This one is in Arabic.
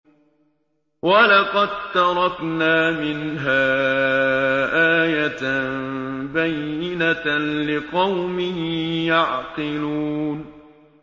وَلَقَد تَّرَكْنَا مِنْهَا آيَةً بَيِّنَةً لِّقَوْمٍ يَعْقِلُونَ